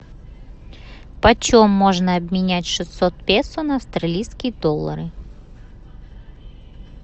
почем можно обменять шестьсот песо на австралийские доллары